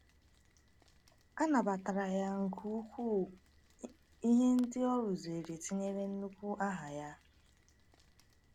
A nabatara ya nke ukwuu, ihe ndị o rụzuru tinyere nnukwu aha ya.